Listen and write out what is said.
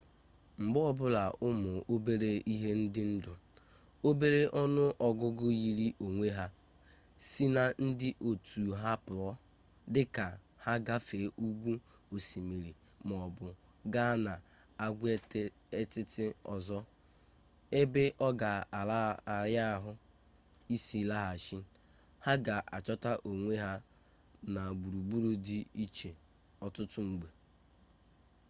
mgbe ọbụla ụmụ obere ihe dị ndụ obere ọnụ ọgụgụ yiri onwe ha si na ndị otu ha pụọ dịka ha gafee ugwu osimiri maọbụ gaa n'agwaetiti ọzọ ebe ọ ga-ara ahụ isi laghachi ha ga-achọta onwe ha na gburugburu di iche ọtụtụ mgbe